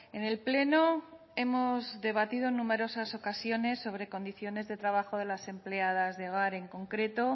en el pleno hemos debatido en numerosas ocasiones sobre condiciones de trabajo de las empleadas de hogar en concreto